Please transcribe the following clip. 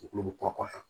Ulu bɛ kɔkɔ